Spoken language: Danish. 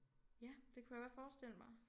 Ja det kunne jeg godt forestille mig